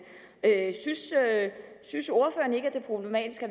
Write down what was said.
synes ordføreren ikke at det er problematisk at